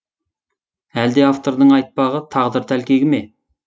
әлде автордың айтпағы тағдыр тәлкегі ме